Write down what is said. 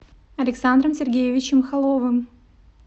александром сергеевичем холовым